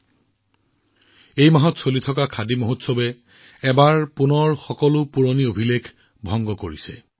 চলিত মাহত চলি থকা খাদী মহোৎসৱে পুনৰবাৰ সকলো পুৰণি বিক্ৰীৰ অভিলেখ ভংগ কৰিলে